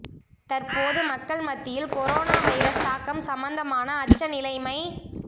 தற்போது மக்கள் மத்தியில் கொரோனா வைரஸ் தாக்கம் சம்பந்தமான அச்ச நிலைமை